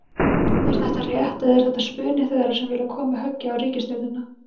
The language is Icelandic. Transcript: Er þetta rétt eða er þetta spuni þeirra sem vilja koma höggi á ríkisstjórnina?